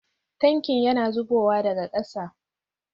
Tankin yana zubowa daga kasa